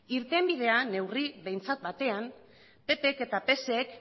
irtenbidea behintzat neurri batean ppk eta psek